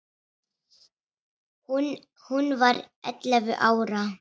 Hún var ellefu ára.